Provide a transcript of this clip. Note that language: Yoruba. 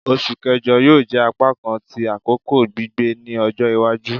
Oṣu Kẹjọ yoo jẹ apakan ti akoko gbigbẹ ni ọjọ iwaju